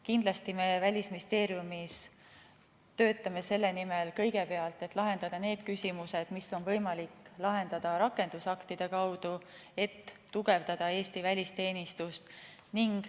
Kindlasti me Välisministeeriumis töötame kõigepealt selle nimel, et lahendada need küsimused, mis on võimalik lahendada rakendusaktide kaudu, et tugevdada Eesti välisteenistust.